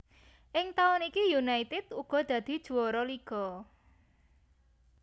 Ing taun iki United uga dadi juwara liga